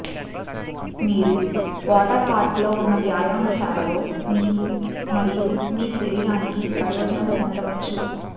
మీరు వాటర్ పార్కులో ఉన్న వ్యాయామశాలలో మీకు మరియు మీ శరీరానికి ప్రయోజనం పొందవచ్చు